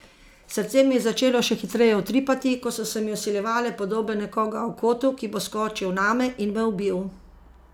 Srce mi je začelo še hitreje utripati, ko so se mi vsiljevale podobe nekoga v kotu, ki bo skočil name in me ubil.